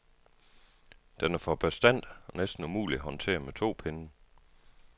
Den er for bastant og næsten umulig at håndtere med to pinde.